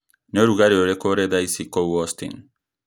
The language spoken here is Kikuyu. nĩ ũrugarĩ ũrĩkũ ũrĩ thaa ici kũu austin